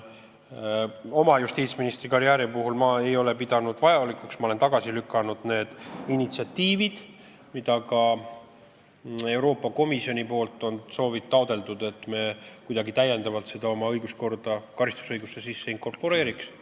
Justiitsministri karjääri jooksul olen ma tagasi lükanud need initsiatiivid, mida ka Euroopa Komisjon on taotlenud, et me kuidagi täiendavalt selle oma õiguskorda, karistusõigusesse inkorporeeriks.